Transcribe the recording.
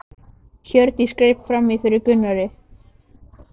Hjördís greip fram í fyrir Gunnari.